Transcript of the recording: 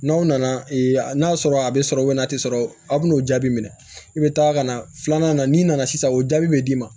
N'aw nana ee n'a sɔrɔ a be sɔrɔ a te sɔrɔ a be n'o jaabi minɛ i be taa ka na filanan na n'i nana sisan o jaabi be d'i ma